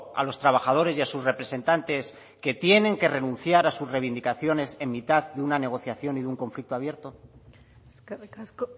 a los trabajadores y a sus representantes que tienen que renunciar a sus reivindicaciones en mitad de una negociación y un conflicto abierto eskerrik asko